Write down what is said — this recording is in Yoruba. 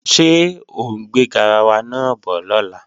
Ṣé ọ ń gbé garawa náà bọ̀ lọ́la?